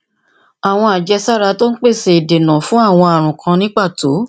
àwọn àjẹsára tó ń pèsè ìdènà fún àwọn ààrùn kan ní pàtó